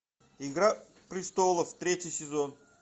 игра престолов третий сезон